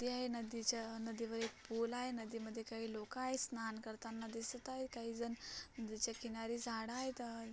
नदी आहे नदीच्या नदीवर एक पूल आहे. नदीमध्ये काही लोक आहे स्नान करताना दिसत आहेत काहीजण. नदीच्या किनारी झाड आहेत.